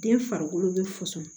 Den farikolo bɛ fusɔn